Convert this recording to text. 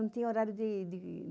Não tinha horário de...